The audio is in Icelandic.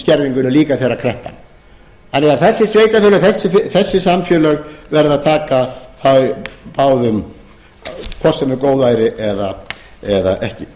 skerðingunni líka þegar þessi sveitarfélög þessi samfélög verða að taka hvort sem er góðæri eða ekki